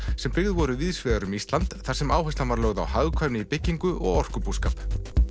sem byggð voru víðs vegar um Ísland þar sem áhersla var lögð á hagkvæmni í byggingu og orkubúskap